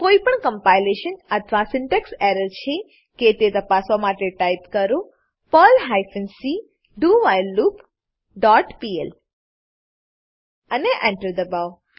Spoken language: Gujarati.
કોઈપણ કમ્પાઈલેશન અથવા સિન્ટેક્સ એરર છે કે તે તપાસવા માટે ટાઈપ કરો Perl hyphen c do while loop dot pl અને Enter એન્ટર દબાવો